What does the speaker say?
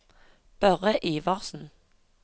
Børre Iversen